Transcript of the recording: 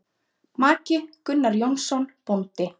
Maki: Gunnar Jónsson bóndi.